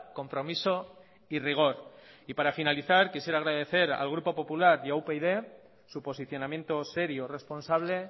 compromiso y rigor para finalizar quisiera agradecer al grupo popular y a upyd su posicionamiento serio responsable